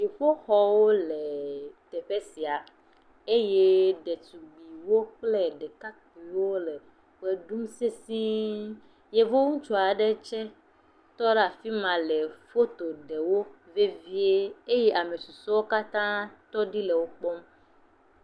Dziƒoxɔwo le teƒe sia eye ɖetugbiwo kple ɖekakpiwo le ʋe ɖum seise. Yevu ŋutsu aɖe tse tɔ ɖe afi ma le foto ɖem wo vevie eye ame susɔewo katã tɔ ɖi le wo kpɔm